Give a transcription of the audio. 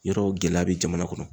Yɔrɔw gɛlɛya bɛ jamana kɔnɔ.